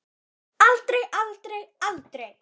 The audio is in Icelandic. Aldrei, aldrei, aldrei!